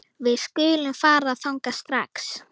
Við skulum fara þangað strax